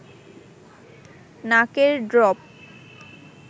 নাকের ড্রপ